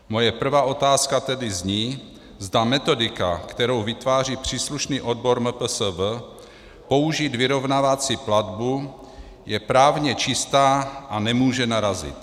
Moje prvá otázka tedy zní, zda metodika, kterou vytváří příslušný odbor MPSV, použít vyrovnávací platbu je právně čistá a nemůže narazit.